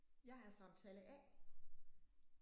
Jeg er samtale A